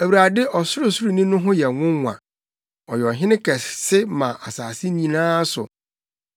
Awurade Ɔsorosoroni no ho yɛ nwonwa, Ɔyɛ Ɔhene kɛse wɔ asase nyinaa so!